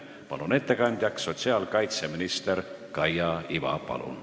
Palun ettekandeks kõnetooli sotsiaalkaitseminister Kaia Iva!